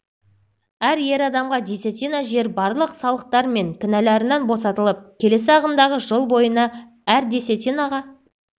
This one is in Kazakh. әр ер адамға десятина жер барлық салықтар мен кінәларынан босатылып келесі ағымдағы жыл бойына әр десятинаға